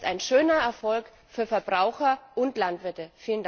Das ist ein schöner Erfolg für Verbraucher und